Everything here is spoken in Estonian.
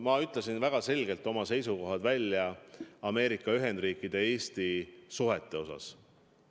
Ma ütlesin väga selgelt välja oma seisukohad Ameerika Ühendriikide ja Eesti suhete osas.